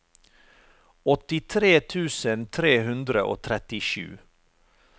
åttitre tusen tre hundre og trettisju